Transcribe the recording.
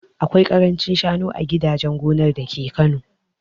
Akwai karancin shanu a gidajen gonar dake Kano